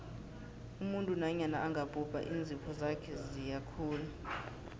umuntu nanyana angabhubha iinzipho ziyakhula